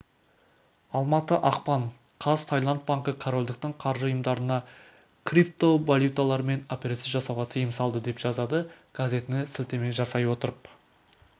алматы ақпан қаз таиланд банкі корольдіктің қаржы ұйымдарына криптовалюталармен операция жасауға тыйым салды деп жазады газетіне сілтеме жасай отырып